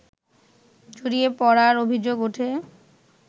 জড়িয়ে পড়ার অভিযোগ উঠে